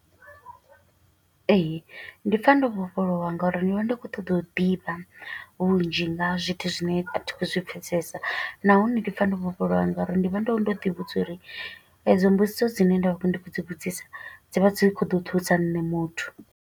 Ee, ndi pfa ndo vhofholowa nga uri ndi vha ndi khou ṱoḓa u ḓivha vhunzhi nga zwithu zwine a thi khou zwi pfesesa. Nahone ndi pfa ndo vhofholowa nga uri ndi vha ndo ndo ḓi vhudza uri, e dzo mbudziso dzine nda vha ndi khou dzi vhudzisa, dzi vha dzi kho ḓo thusa nṋe muthu.